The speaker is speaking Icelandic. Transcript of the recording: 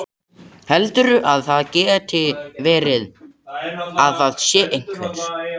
Heldurðu að það geti verið. að það sé einhver.